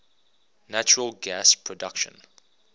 natural gas production